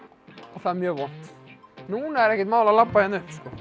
og það er mjög vont núna er ekkert mál að labba hérna upp sko